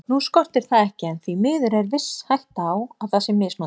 Nú skortir það ekki en því miður er viss hætta á að það sé misnotað.